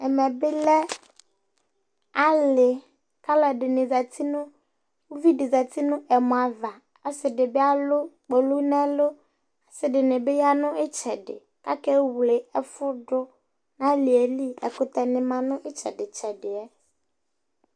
ɛmɛ bi lɛ ali k'aloɛdini zati no uvi di zati n'ɛmɔ ava ɔse di bi alo kpolu n'ɛlu ɔse dini bi ya no itsɛdi akewle ɛfu do n'aliɛ li ɛkutɛ ni ma n'itsɛdi tsɛdiɛ